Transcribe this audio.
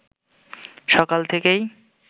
সকাল থেকেই